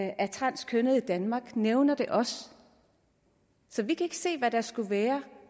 af transkønnede i danmark nævner det også så vi kan ikke se hvad der skulle være